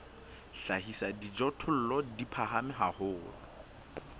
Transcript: hlahisa dijothollo di phahame haholo